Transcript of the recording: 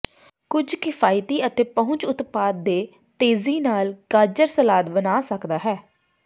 ਕੁਝ ਕਿਫਾਇਤੀ ਅਤੇ ਪਹੁੰਚ ਉਤਪਾਦ ਦੇ ਤੇਜ਼ੀ ਨਾਲ ਗਾਜਰ ਸਲਾਦ ਬਣਾ ਸਕਦਾ ਹੈ